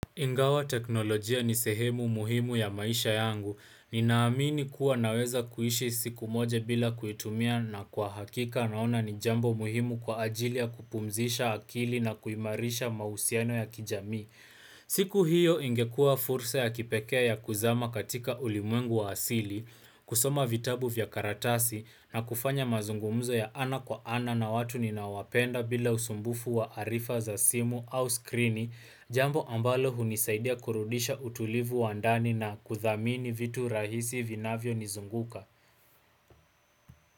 Ingawa teknolojia ni sehemu muhimu ya maisha yangu. Ninaamini kuwa naweza kuishi siku moja bila kuitumia na kwa hakika naona ni jambo muhimu kwa ajili ya kupumzisha akili na kuimarisha mausiano ya kijamii. Siku hiyo ingekuwa fursa ya kipekee ya kuzama katika ulimwengu wa asili, kusoma vitabu vya karatasi na kufanya mazungumzo ya ana kwa ana na watu ninawapenda bila usumbufu wa arifa za simu au skrini jambo ambalo hunisaidia kurudisha utulivu wa ndani na kuthamini vitu rahisi vinavyo nizunguka.